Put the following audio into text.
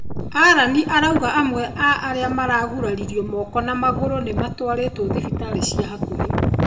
Allan araugire amwe a arĩa maraguraririo moko na magũrũ nĩmatwarĩtwo thibitarĩ ciĩ hakuhĩ.